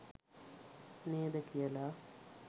නේද කියලා.